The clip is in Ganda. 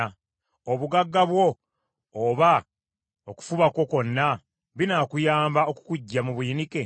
Obugagga bwo oba okufuba kwo kwonna binaakuyamba okukuggya mu buyinike?